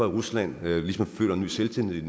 rusland nu ligesom føler en ny selvtillid